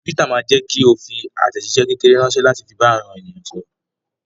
Twitter ma jẹ́kí o fi àtẹ̀jíṣé kékeré ránsẹ́ láti fi bá àwọn èèyàn sọ̀rọ̀